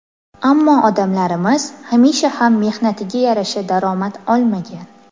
Ammo odamlarimiz hamisha ham mehnatiga yarasha daromad olmagan.